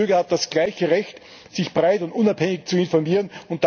Jeder Bürger hat das gleiche Recht, sich breit und unabhängig zu informieren.